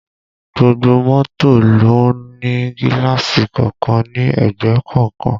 Gbogbo mọ́tò ló ń ní gíláàsì kọ̀ọ̀kan ní ẹ̀gbẹ́ kọ̀ọ̀kan